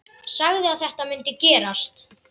Sagði að þetta mundi gerast.